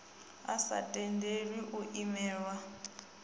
a sa tendeli u imelelwa